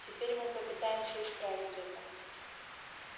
теперь мы попытаемся исправить это